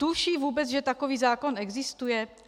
Tuší vůbec, že takový zákon existuje?